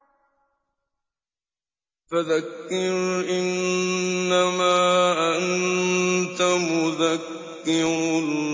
فَذَكِّرْ إِنَّمَا أَنتَ مُذَكِّرٌ